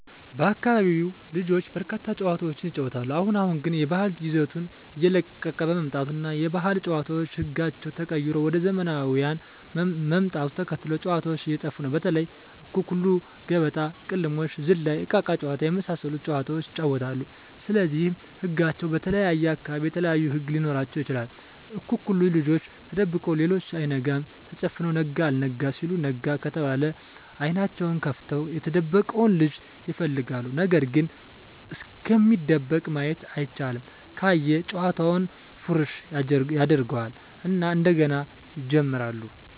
በአካቢው ልጆች በርካታ ጨዋታዎችን ይጫወታሉ አሁን አሁን ግን የባህል ይዘቱን እየለቀቀ በመምጣቱ እና የባህል ጨዋታዎች ህጋቸው ተቀይሮ ወደ ዘመናውያን ምጣቱን ተከትሎ ጨዎታዎች እየጠፉ ነው በተለይ:- አኩኩሉ ገበጣ: ቅልሞሽ ዝላይ እቃቃ ጨዎታ የመሣሠሉት ጨዋታዎች ይጫወታሉ ስለዚህ ህጋቸው በተለየየ አካባቢ የተለያዩ ህግ ሊኖራቸው ይችላል አኩኩሉ ልጆች ተደብቀው ሌሎች አይናቸውን ተጨፍነው ነጋ አልጋ ሲሉ ነጋ ከተባለ አይኔናቸውን ከፍተው የተደበቀውን ልጅ ይፈልጋሉ ነገርግ እስኪደበቅ ማየት አይቻልም ካየ ጨዋታውን ፉረሽ ያጀርገው እና እንደገና ይጀምራሉ።